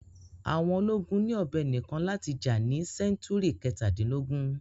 Àwọn ológun ni ọ̀bẹ nìkan láti jà ní sẹ́ńtúrì kẹ̀tadínlógún.